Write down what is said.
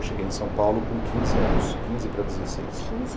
Eu cheguei em São Paulo com quinze anos, quinze para dezesseis.